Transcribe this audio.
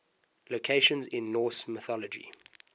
locations in norse mythology